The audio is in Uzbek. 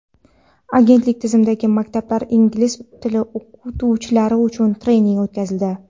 Agentlik tizimidagi maktablar ingliz tili o‘qituvchilari uchun trening o‘tkazildi.